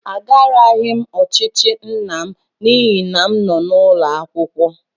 Agaraghị m ochichi nna m n'ihi na m nọ n'ụlọ akwụkwọ.